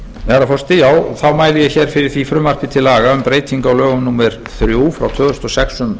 virðulegi forseti ég mæli hér fyrir frumvarpi til laga um breytingu á lögum númer þrjú tvö þúsund og sex um